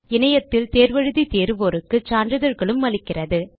இணையத்தில் தேர்வு எழுதி தேர்வோருக்கு சான்றிதழ்களும் அளிக்கிறது